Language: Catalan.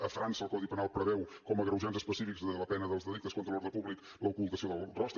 a frança el codi penal preveu com a agreujant específic de la pena dels delictes contra l’ordre públic l’ocultació del rostre